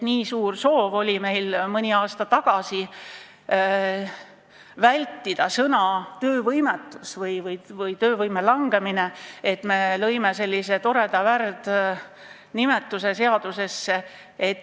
Nii suur soov oli meil mõni aasta tagasi vältida sõna "töövõimetus" või väljendit "töövõime langemine", et me tõime seadusesse sellise toreda värdnimetuse.